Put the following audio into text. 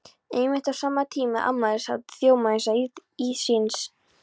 Einmitt á sama tíma er afmælishátíð Þjóðminjasafnsins í